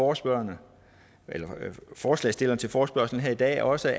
også høre at forslagsstilleren til forespørgslen her i dag også